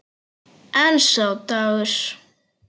En sá dagur!